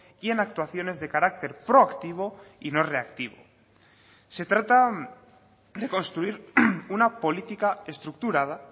y en actuaciones de carácter proactivo y no reactivo se trata de construir una política estructurada